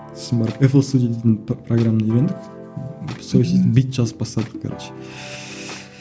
сосын барып эпл студия дейтін программа үйрендік бит жазып бастадық короче